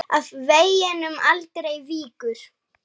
Af veginum aldrei víkur.